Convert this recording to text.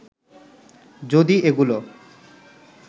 যদি এগুলো